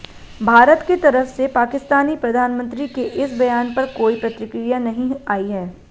भारत के तरफ से पाकिस्तानी प्रधानमंत्री के इस बयान पर कोई प्रतिक्रिया नहीं आई है